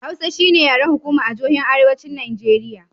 Hausa shi ne yaren hukuma a jihohin arewacin Nijeriya.